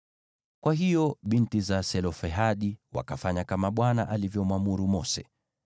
Kwa hiyo binti za Selofehadi wakafanya kama Bwana alivyomwamuru Mose.